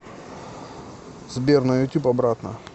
сбер на ютюб обратно